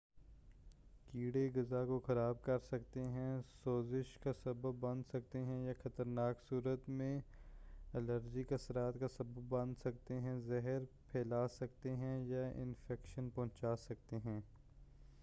کیڑے غذا کو خراب کرسکتے ہیں سوزش کا سبب بن سکتے ہیں یا خطرناک صورت میں الرجک اثرات کا سبب بن سکتے ہیں زہر پھیلا سکتے ہیں یا انفیکشن پہنچا سکتے ہیں